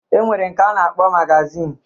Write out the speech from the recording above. E nwere nke a na-akpọ magazin.